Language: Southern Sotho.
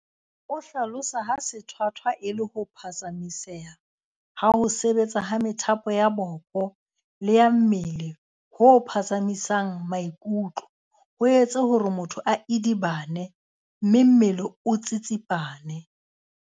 O hlalosa ha sethwathwa e le ho phatsamiseha ha ho sebetsa ha methapo ya boko le ya mmele ho phatsamisang maikutlo, ho etse hore motho a idibane mme le mmele o tsitsipane.